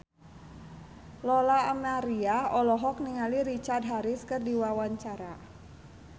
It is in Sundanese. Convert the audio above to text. Lola Amaria olohok ningali Richard Harris keur diwawancara